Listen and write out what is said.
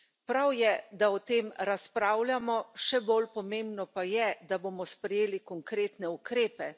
Prav je, da o tem razpravljamo, še bolj pomembno pa je, da bomo sprejeli konkretne ukrepe.